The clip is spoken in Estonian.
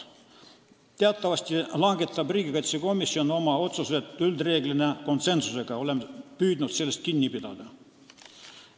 Teatavasti langetab riigikaitsekomisjon oma otsused reeglina konsensusega ja oleme püüdnud sellest kinni pidada.